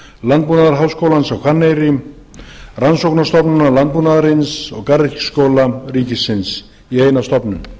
landbúnaðarháskólans á hvanneyri rannsóknastofnunar landbúnaðarins og garðyrkjuskóla ríkisins í eina stofnun